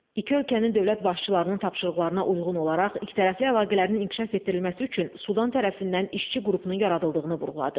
İki ölkənin dövlət başçılarının tapşırıqlarına uyğun olaraq ikitərəfli əlaqələrin inkişaf etdirilməsi üçün Sudan tərəfindən işçi qrupunun yaradıldığını vurğuladı.